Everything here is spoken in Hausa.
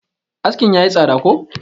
askin ya yi tsada ko?